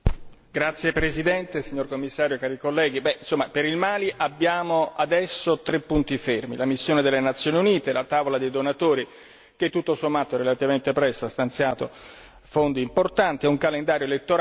Signora Presidente, Signor Commissario, onorevoli colleghi, per il Mali abbiamo adesso tre punti fermi la missione delle Nazioni Unite, la tavola dei donatori, che tutto sommato relativamente presto ha stanziato fondi importanti, e un calendario elettorale.